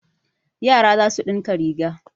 Yara za su ɗinka riga.